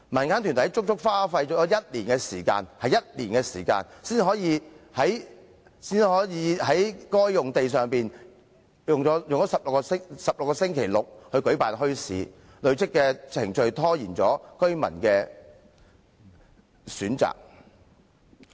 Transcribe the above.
民間團體足足用了1年時間，才可以在該幅用地上營辦為期16個星期六的墟市，累贅的程序拖延了給予居民選擇。